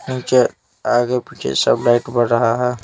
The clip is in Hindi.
नीचे आगे पीछे सब लाइट बर रहा है।